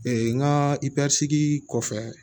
n ka kɔfɛ